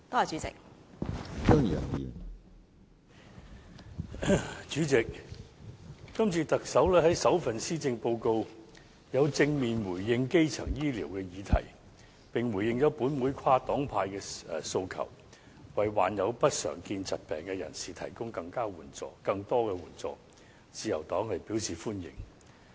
主席，今次特首在首份施政報告正面回應基層醫療的議題，並回應了本會跨黨派的訴求，為罹患不常見疾病的人士提供更多援助，自由黨表示歡迎。